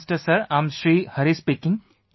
Prime Minister sir, I am Shri Hari speaking